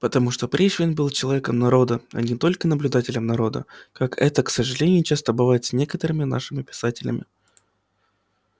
потому что пришвин был человеком народа а не только наблюдателем народа как это к сожалению часто бывает с некоторыми нашими писателями